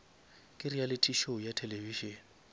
ke reality show ya television